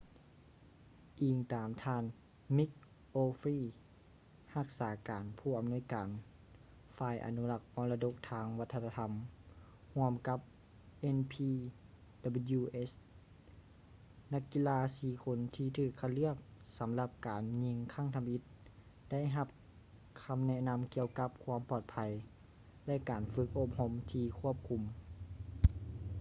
ອີງຕາມທ່ານ mick o'flynn ຮັກສາການຜູ້ອຳນວຍການຝ່າຍອະນຸລັກມໍລະດົກທາງວັດທະນະທໍາຮ່ວມກັບ npws ນັກກິລາສີ່ຄົນທີ່ຖືກຄັດເລືອກສຳລັບການຍິງຄັ້ງທຳອິດໄດ້ຮັບຄຳແນະນຳກ່ຽວກັບຄວາມປອດໄພ ແລະ ການຝຶກອົບຮົມທີ່ຄວບຄຸມ